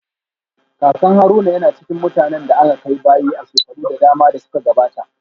Kakan Haruna yana cikin mutanen da aka kai bayi a shekaru da dama da suka gabata